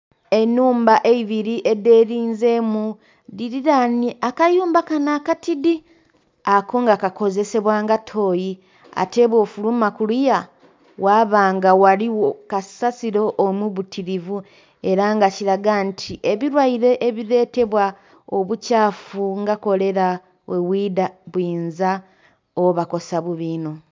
Ennhumba eibiri edhelinzeemu, dhaililainhe akayumba kano akatidi, ako nga kakozesebwa nga tooyi. Ate bwofuluma kuliya ghaba nga ghaligho kasasilo omubitilivu, era nga kilaga nti ebilwaire ebiletebwa obukyafu nga kolera, bwebwida buyinza obakosa bubi inho.